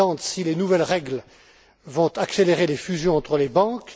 si les nouvelles règles vont accélérer les fusions entre les banques